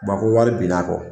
Ba ko wari binn'a kɔ